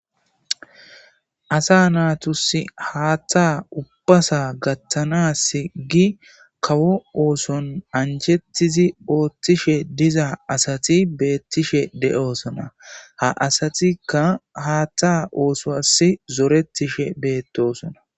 Asa naatus haatta ubbasa gattanas gi kawo ooson anjettizi ooththishe diza asati beettishe de7osona ha asatikka haatta ooso as zoretishe beettosona.